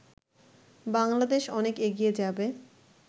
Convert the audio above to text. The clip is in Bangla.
বাংলাদেশ অনেক এগিয়ে যাবে